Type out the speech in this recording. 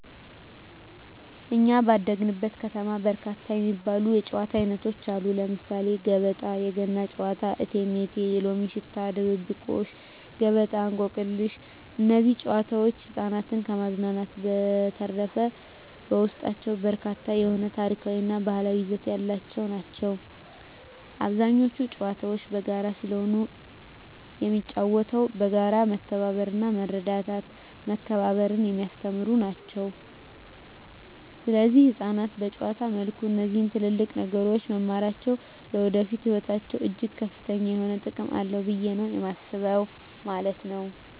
በኛ ባደግንበት ከተማ በርካታ የሚባሉ የጨዋታ አይነቶች አሉ ለምሳሌ ገበጣ: የገና ጨዋታ እቴሜቴ የሎሚ ሽታ ድብብቆሽ ገበጣ እንቆቅልሽ እነዚህ ጨዋታዎች ህፃናትን ከማዝናናት በዠተረፈ በውስጣቸው በርካታ የሆነ ታሪካዊ እና ባህላዊ ይዘት ያላቸው ናቸው አብዛኞቹ ጨዋታዎች በጋራ ስለሆነ የሚጫወተው በጋራ መተባበርና መረዳዳትና መከባበርን የሚያስተምሩ ናቸው ሰለዚህ ህፃናት በጨዋታ መልኩ እነዚህ ትልልቅ ነገሮች መማራቸው ለወደፊቱ ህይወታቸው እጅግ ከፍተኛ የሆነ ጥቅም አለው ብየ ነው የማስበው ማለት ነው።